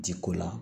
Jiko la